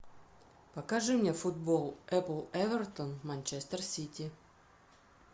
покажи мне футбол апл эвертон манчестер сити